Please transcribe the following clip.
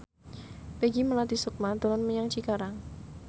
Peggy Melati Sukma dolan menyang Cikarang